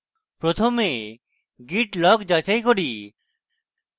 প্রথমে git log যাচাই করি